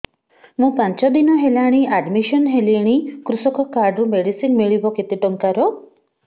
ମୁ ପାଞ୍ଚ ଦିନ ହେଲାଣି ଆଡ୍ମିଶନ ହେଲିଣି କୃଷକ କାର୍ଡ ରୁ ମେଡିସିନ ମିଳିବ କେତେ ଟଙ୍କାର